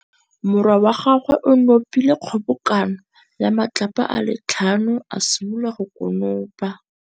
Morwa wa gagwe o nopile kgobokanô ya matlapa a le tlhano, a simolola go konopa.